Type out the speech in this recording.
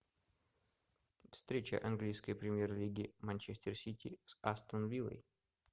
встреча английской премьер лиги манчестер сити с астон виллой